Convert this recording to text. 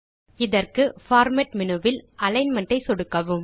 இதற்கு format menu வில் alignment ஐ சொடுக்கலாம்